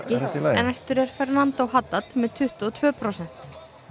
en næstur er Fernando með tuttugu og tvö prósent